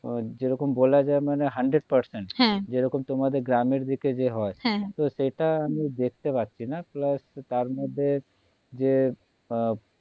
যেরকম বলা যায় মানে হান্ড্রেড percent হ্যাঁ যে রকম তোমাদের গ্রামের দিকে যে হয় হ্যাঁ হ্যাঁ তো সেটা আমি দেখতে পারছিনা plus তারমধ্যে যে